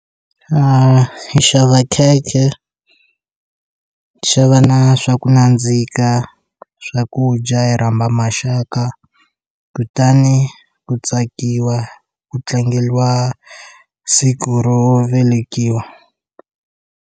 A xava khekhe xa va na swa ku nandzika swakudya hi rhamba maxaka kutani ku tsakiwa ku tlangeriwa siku ro velekiwa.